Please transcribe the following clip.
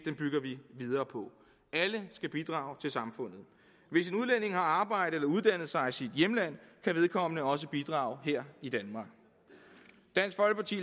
bygger vi videre på alle skal bidrage til samfundet hvis en udlænding har arbejdet eller uddannet sig i sit hjemland kan vedkommende også bidrage her i danmark dansk folkeparti